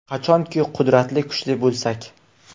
Qachonki qudratli, kuchli bo‘lsak.